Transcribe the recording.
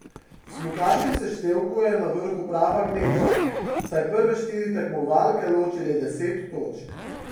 V smukaškem seštevku je na vrhu prava gneča, saj prve štiri tekmovalke loči le deset točk.